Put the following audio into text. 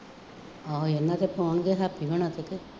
ਹਾਂ ਇਹਨਾ ਤੇ ਪਾਉਣਗੇ, ਹੈਪੀ ਹੁਣਾਂ ਤੇ